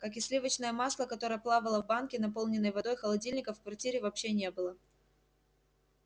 как и сливочное масло которое плавало в банке наполненной водой холодильника в квартире вообще не было